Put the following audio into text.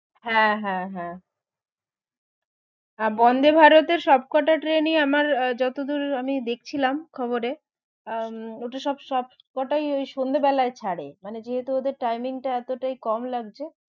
হ্যাঁ হ্যাঁ হ্যাঁ আহ বন্দে ভারতের সবকটা ট্রেনই আমার আহ আমি যতদূর দেখছিলাম খবরে আহ ওটা সব~ সবকটাই ওই সন্ধে বেলায় ছারে মানে যেহেতু ওদের timing টা এতোটা কম লাগছে